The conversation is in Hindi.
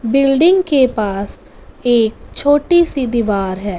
बिल्डिंग के पास एक छोटी सी दीवार है।